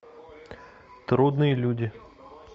трудные люди